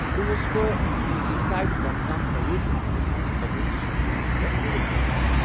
برٛونٛہہ ٲسس بہٕ انسائٹ برانڈکام پرٛایویٹ لمٹڑس منٛز بطور سوشل میڈیا مینیجرکٲم کران ۔